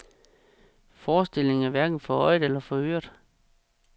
Forestillingen er hverken for øjet eller for øret.